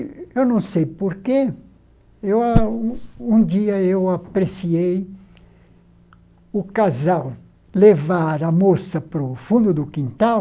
E eu não sei por quê, eu a um dia eu apreciei o casal levar a moça para o fundo do quintal,